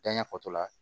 Janya fatɔ la